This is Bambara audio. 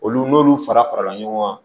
Olu n'olu fara farala ɲɔgɔn kan